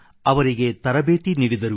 ಅವರಿಗೆ ತರಬೇತಿ ನೀಡಿದರು